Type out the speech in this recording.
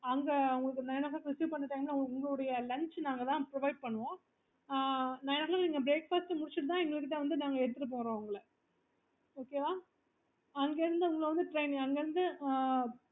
நாங்க உங்களுக்கு nine o clock receive பண்ற time உங்களோட lunch நாங்க தான் provide பண்ணுவோம் ஆஹ் nine o clock நீங்க breakfast முடிச்சிட்டு தான் எங்க கிட்ட வந்துட்டு நாங்க எடுத்துட்டு போறோம் உங்கள okay வா உங்கள வந்து train அங்க இருந்து